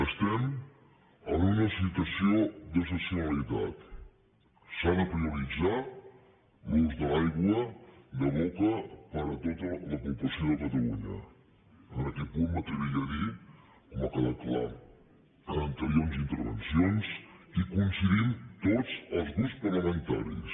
estem en una situació d’excepcionalitat s’ha de prioritzar l’ús de l’aigua de boca per a tota la població de catalunya en aquest punt m’atreviria a dir com ha quedat clar en anteriors intervencions que hi coincidim tots els grups parlamentaris